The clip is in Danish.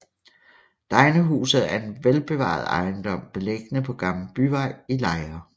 Degnehuset er en velbevaret ejendom beliggende på Gammel Byvej i Lejre